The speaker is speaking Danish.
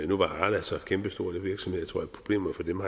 nu var arla så kæmpestor en virksomhed at jeg tror at problemerne for dem